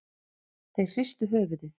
Þeir hristu höfuðið.